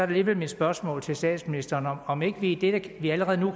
alligevel mit spørgsmål til statsministeren om ikke vi ikke vi allerede nu